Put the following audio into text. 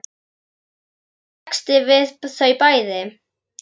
Er kominn texti við þau bæði?